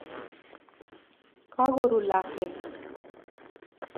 Kako ru lakwet .